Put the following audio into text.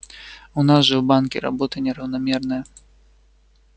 у нас же в банке работа неравномерная